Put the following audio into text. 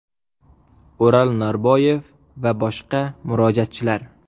O‘ral Norboyev va boshqa murojaatchilar.